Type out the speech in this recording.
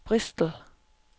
Bristol